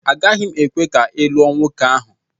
Agaghị m ekwe ka ị lụọ nwoke ahụ!